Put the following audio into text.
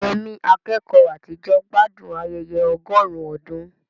Yemi, akẹ́kọ̀ọ́ àtijọ́, gbádùn ayẹyẹ ọgọ́rùn-ún ọdún.